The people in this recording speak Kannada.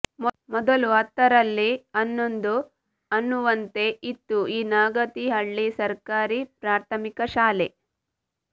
ಮೊದಲು ಹತ್ತರಲ್ಲಿ ಹನ್ನೊಂದು ಅನ್ನುವಂತೆ ಇತ್ತು ಈ ನಾಗತಿಹಳ್ಳಿ ಸರ್ಕಾರಿ ಪ್ರಾಥಮಿಕ ಶಾಲೆ